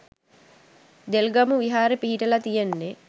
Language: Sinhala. දෙල්ගමු විහාරේ පිහිටලා තියෙන්නේ